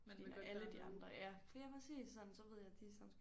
Fordi når alle de andre ja ja præcis sådan så ved jeg de sådan